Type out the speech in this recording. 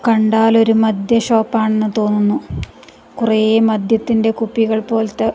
കണ്ടാൽ ഒരു മദ്യ ഷോപ്പ് ആണെന്ന് തോന്നുന്നു കുറേ മദ്യത്തിന്റെ കുപ്പികൾ പോലത്തെ --